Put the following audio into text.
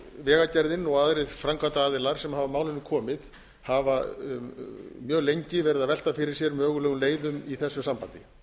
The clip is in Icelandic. vegagerðin og aðrir aðilar sem hafa að málinu komið hafa mjög lengi verið að velta fyrir sér mögulegum leiðum í þessu sambandi